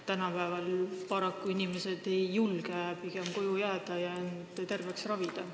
Tänapäeval inimesed pigem paraku ei julge koju jääda ja end terveks ravida.